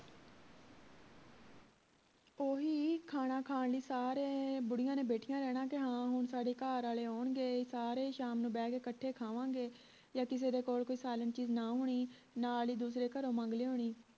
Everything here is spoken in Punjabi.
ਓਹੀ ਖਾਣਾ ਖਾਨ ਲਈ ਸਾਰੇ ਬੁੜੀਆਂ ਨੇ ਬੈਠੀਆਂ ਰਹਿਣਾ ਕੇ ਹੁਣ ਸਾਡੇ ਘਰਿਆਲੇ ਆਉਣਗੇ ਸਾਰੇ ਸ਼ਾਮ ਨੂੰ ਬਹਿ ਕੇ ਕੱਠੇ ਖਾਵਾਂਗੇ ਯਾ ਕਿਸੇ ਦੇ ਕੋਲ ਕੋਈ ਚੀਜ ਨਾ ਹੋਣੀ ਨਾਲ ਹੀ ਦੂਸਰੇ ਘਰੋਂ ਮੰਗ ਲਿਆਉਣੀ